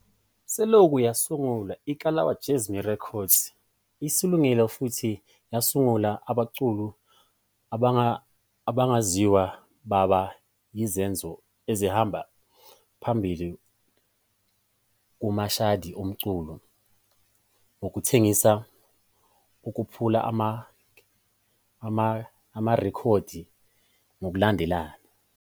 Selokhu yasungulwa, iKalawa Jazmee Records isungule futhi yasungula abaculi abangaziwa baba yizenzo ezihamba phambili kumashadi omculo ngokuthengisa okuphula amarekhodi ngokulandelana.